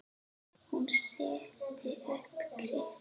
Hún setti upp kryppu.